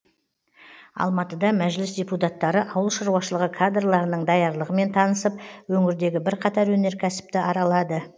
алматыда мәжіліс депутаттары ауыл шаруашылығы кадрларының даярлығымен танысып өңірдегі бірқатар өнеркәсіпті аралады